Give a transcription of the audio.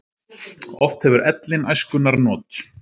Oft hefur ellin æskunnar not.